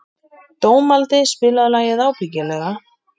Dómaldi, spilaðu lagið „Ábyggilega“.